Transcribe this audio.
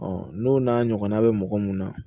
n'o n'a ɲɔgɔnna bɛ mɔgɔ mun na